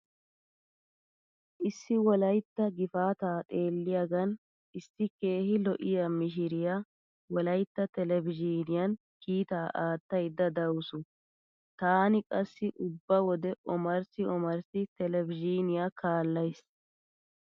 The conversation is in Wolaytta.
Issi wolaytta gifaataa xeelliyagan issi keehi lo'iya mishiriya wolaytta televizhiiniyan kiitaa aattaydda dawusu. Taani qassi ubba wode omarssi omarssi televizhiiniya kaallays.